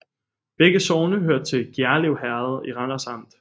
Begge sogne hørte til Gjerlev Herred i Randers Amt